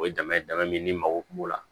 O ye dama dama min ni mago kun b'o la